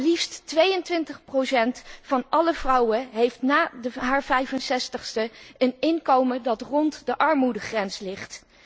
Maar liefst 22 van alle vrouwen heeft na haar 65ste een inkomen dat rond de armoedegrens ligt.